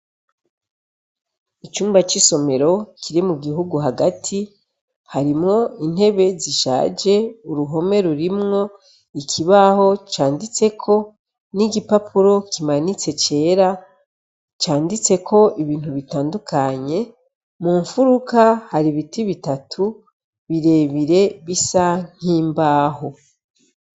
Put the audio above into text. Icumba c'isomero kiri mu gihugu hagati harimwo intebe zishaje uruhome rurimwo ikibaho canditseko n'igipapuro kimanitse cera canditseko ibintu bitandukanye mu mufuruka hari ibiti bitatu birebire bisa nk'imbaho.